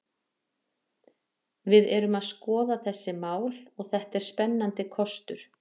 Við erum að skoða þessi mál og þetta er spennandi kostur.